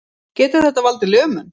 Getur þetta valdið lömun